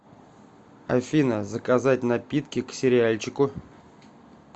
афина заказать напитки к сериальчику